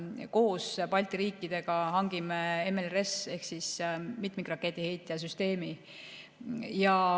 Koos Balti riikidega hangime MLRS-i ehk mitmikraketiheitja süsteemi.